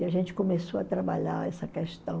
E a gente começou a trabalhar essa questão.